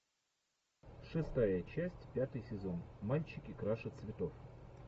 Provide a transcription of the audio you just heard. шестая часть пятый сезон мальчики краше цветов